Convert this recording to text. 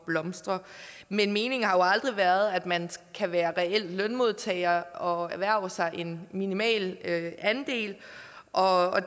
blomstre meningen har jo aldrig været at man kan være reel lønmodtager og erhverve sig en minimal andel og at